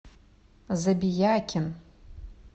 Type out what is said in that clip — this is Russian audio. забиякин